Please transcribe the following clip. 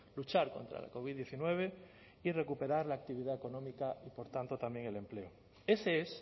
luchar contra la covid diecinueve y recuperar la actividad económica y por tanto también el empleo ese es